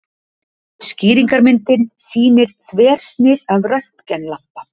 Skýringarmyndin sýnir þversnið af röntgenlampa.